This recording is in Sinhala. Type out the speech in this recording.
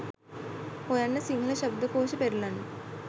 හොයන්න සිංහල ශබ්ද කෝෂේ පෙරලන්න